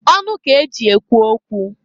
Ọnụ k'eji ekwu okwu.